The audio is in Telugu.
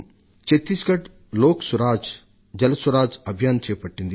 ఛత్తీస్గఢ్ లోక సురాజ్ జల సురాజ్ అభియాన్ ను చేపట్టింది